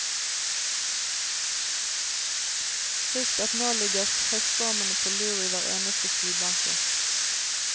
Husk at nå ligger høststormene på lur i hver eneste skybanke.